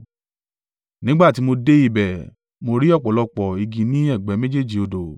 Nígbà tí mo dé ibẹ̀, mo rí ọ̀pọ̀lọpọ̀ igi ní ẹ̀gbẹ́ méjèèjì odò.